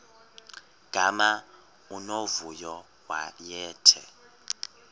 gama unomvuyo wayethe